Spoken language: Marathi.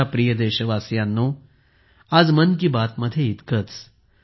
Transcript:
माझ्या प्रिय देशवासियांनो आज मन की बातमध्ये इतकेच